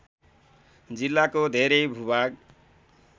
जिल्लाको धेरै भूभाग